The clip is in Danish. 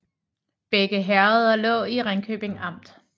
Begge herreder lå i Ringkøbing Amt